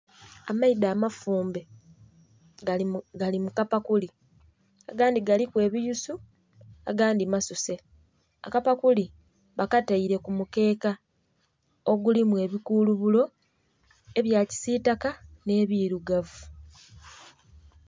Amaido amafumbe gali mu, gali mu kapakuli. Agandhi galiku ebighusu agandhi masuse. Akapakuli bakataile ku mukeeka, ogulimu ebikulubulo ebya kisiitaka nh'ebilugavu.